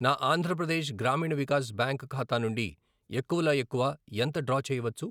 నా ఆంధ్ర ప్రదేశ్ గ్రామీణ వికాస్ బ్యాంక్ ఖాతా నుండి ఎక్కువలో ఎక్కువ ఎంత డ్రా చేయవచ్చు?